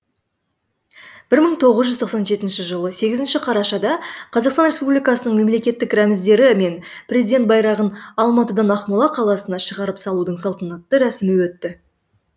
бір мың тоғыз жүз тоқсан жетінші жылы сегізінші қарашада қазақстан республикасының мемлекеттік рәміздері мен президент байрағын алматыдан ақмола қаласына шығарып салудың салтанатты рәсімі өтті